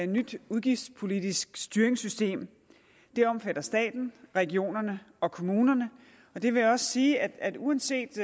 nyt udgiftspolitisk styringssystem det omfatter staten regionerne og kommunerne jeg vil også sige at uanset